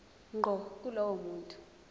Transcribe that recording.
ngqo kulowo muntu